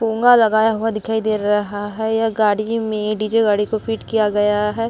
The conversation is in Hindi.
पोंगा लगाया हुआ दिखाई दे रहा है यह गाड़ी में डीजे गाड़ी को फ़ीट किया गया है।